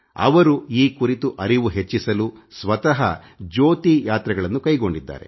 ಅವರು ಈ ಕುರಿತು ಅರಿವು ಮೂಡಿಸಲು ಸ್ವತಃ ಜ್ಯೋತಿ ಯಾತ್ರೆಗಳನ್ನು ಕೈ ಗೊಂಡಿದ್ದಾರೆ